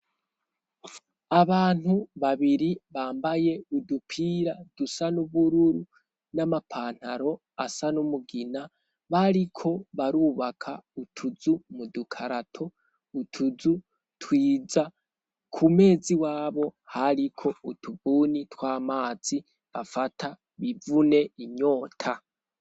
Abantu babiri bambaye udupira dusa n'ubururu ,n'amapantaro asa n'umugina bariko barubaka utuzu mu dukarato, utuzu twiza ,kumez' iwabo hariko utubuni tw'amazi bafata bivune inyota.